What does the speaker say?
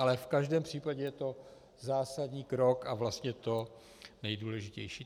Ale v každém případě je to zásadní krok a vlastně to nejdůležitější.